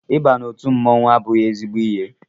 Ị ba n'otu mmọnwụ abụghị ezigbo ihe